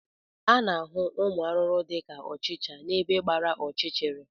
A na-ahụ ụmụ arụrụ dị ka ọchịcha n'ebe gbara ọchịchịrị